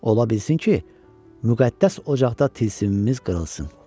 Ola bilsin ki, müqəddəs ocaqda tilsimimiz qırılsın.